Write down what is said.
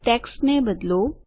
ટેક્સ્ટને બદલો